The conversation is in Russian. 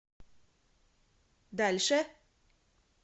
дальше